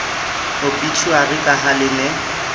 obitjhuari ka ha le ne